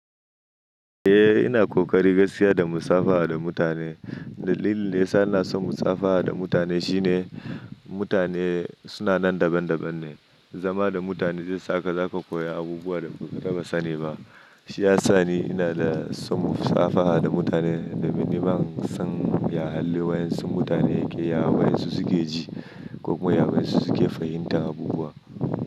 Eh ina ƙoƙari gaskiya da musafaha da mutane. Dalilin da ya sa ina son musafaha da mutane shine mutane suna nan daban-daban ne. Zama da mutane zai saka zaka koya abubuwa da ba taɓa sani ba. Shi ya sa ni ina da son musafaha da mutane domin ni ba zan iya halin wa yansu mutane ke ya wa yanzu suke ji ko kuma ya waye suke fahimtar abubuwa.